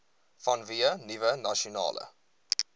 vanweë nuwe nasionale